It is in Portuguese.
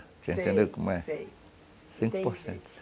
Você entendeu como é? Sei, sei, entendi.